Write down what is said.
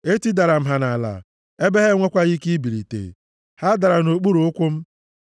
Etidara m ha nʼala ebe ha enwekwaghị ike ibilite. Ha dara nʼokpuru ụkwụ m.